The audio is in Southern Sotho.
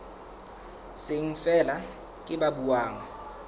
seng feela ke ba buang